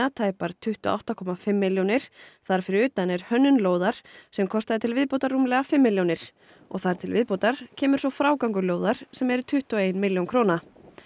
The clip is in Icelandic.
tæpar tuttugu og átta komma fimm milljónir þar fyrir utan er hönnun lóðar sem kostaði til viðbótar rúmlega fimm milljónir og þar til viðbótar kemur svo frágangur lóðar sem er tuttugu og ein milljón króna